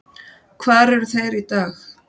Hvar eru þeir í dag?